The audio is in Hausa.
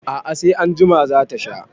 A'a, sai anjima za ta sha.